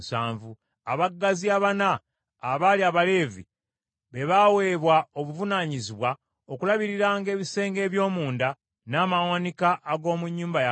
Abaggazi abana, abaali Abaleevi, be baaweebwa obuvunaanyizibwa okulabiriranga ebisenge eby’omunda n’amawanika ag’omu nnyumba ya Katonda.